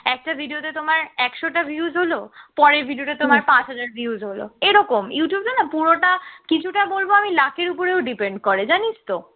একটা video তে তোমার একশটা views হলো পরের video টা তোমার পাঁচ হাজার views হল এরকম, youtube এ না পুরোটা কিছুটা বলব আমি luck এর উপর depend করে জানিস তো